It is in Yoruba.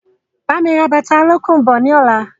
Bámi ra bàtà olókùn bọ̀ ni ọ̀la!